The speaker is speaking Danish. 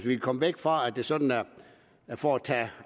kan komme væk fra at det sådan er for at tage